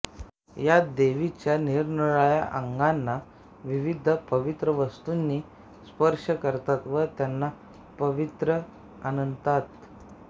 यात देवीच्या निरनिराळ्या अंगांना विविध पवित्र वस्तूंनी स्पर्श करतात व त्यांना पावित्र्य आणतात